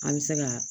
An bɛ se ka